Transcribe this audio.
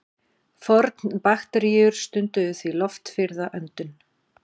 Fornbakteríur stunduðu því loftfirrða öndun.